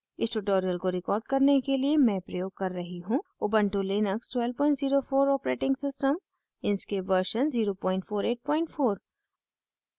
इस tutorial को record करने के लिए मैं प्रयोग कर रही हूँ